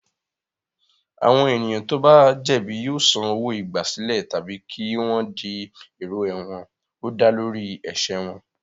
Àwọn ènìyàn tó bá jẹ̀bi yóò san owó-igbàsílẹ̀ tàbí kí wọ́n di èrò ẹ̀wọ̀n ó dá lórí ẹ̀ṣẹ̀ wọn.